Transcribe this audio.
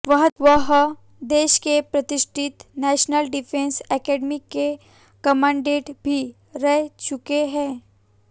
वह देश के प्रतिष्ठित नैशनल डिफेंस एकेडमी के कमांडेंट भी रह चुके हैं